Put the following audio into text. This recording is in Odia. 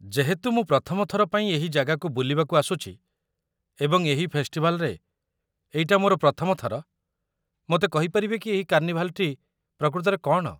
ଯେହେତୁ ମୁଁ ପ୍ରଥମ ଥର ପାଇଁ ଏହି ଜାଗାକୁ ବୁଲିବାକୁ ଆସୁଛି ଏବଂ ଏହି ଫେଷ୍ଟିଭାଲ୍‌ରେ ଏଇଟା ମୋର ପ୍ରଥମ ଥର, ମୋତେ କହିପାରିବେ କି ଏହି କାର୍ଣ୍ଣିଭାଲ୍‌‌ଟି ପ୍ରକୃତରେ କ'ଣ?